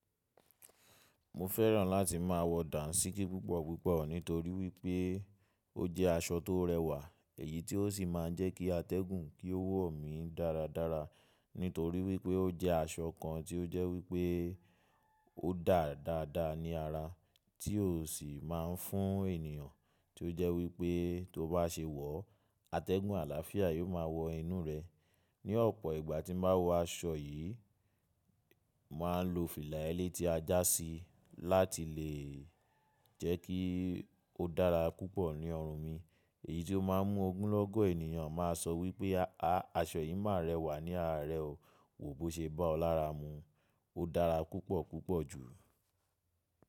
Mo fẹ́ràn láti máa wọ Dàńṣíkí púpọ̀ púpọ̀ nítorí wípé ó jẹ́ aṣọ tó rẹwà, èyí ti ó sì máa ń jẹ́ kí atẹ́gùn kí ó wọ̀ mí dáradára nítorí wípé ó jẹ́ aṣọ kan tí ó jẹ́ wípé ó dà dáa dáada ní ara, tí ó sì máa ń fún ènìyàn tí ó jẹ́ wípé tó bá se wọ̀, atẹ́gùn àlàáfíà yóò máa wọ inú rẹ. Ni ọ̀pọ̀ ìgbà tí n bá wọ aṣọ yìí, màá lo fìlà ẹlẹ́tí ajá síi láti lè jẹ́ kí ó dára púpọ̀ ní ọrùn mi, èyí tó máa ń mú ogunlọ́gọ̀ ènìyàn máa sọ wípé, aṣọ yìí máa rẹwà ní ara rẹ o, wo bó ṣe bá ọ lára mu. Ó dára púpọ̀ púpọ̀ jù.